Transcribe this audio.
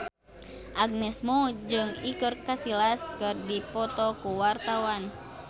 Agnes Mo jeung Iker Casillas keur dipoto ku wartawan